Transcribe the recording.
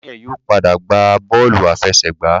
Daniel yóò pàdà gba bọọlu àfẹsẹ̀gbá.